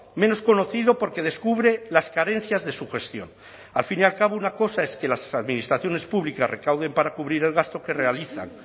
menos conocido porque descubre las carencias de su gestión al fin y al cabo una cosa es que las administraciones públicas recauden para cubrir el gasto que realizan